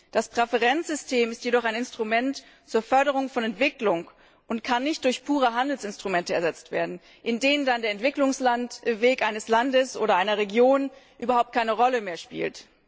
Das Präferenzsystem ist jedoch ein Instrument zur Förderung von Entwicklung und kann nicht durch pure Handelsinstrumente ersetzt werden, in denen dann der Entwicklungsweg eines Landes oder einer Region überhaupt keine Rolle mehr spielt.